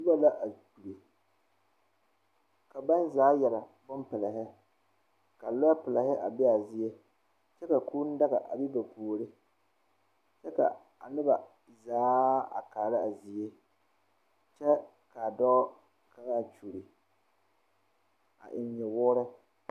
Pɔge la are kyɛ ka biiri ane dɔba a zeŋ o teɛ la o nu a kyaare a kaŋa o vuunee la kaŋa meŋ dɔɔ la kyɛ eŋ wɔɔkyi